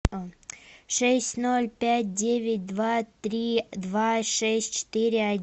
шесть ноль пять девять два три два шесть четыре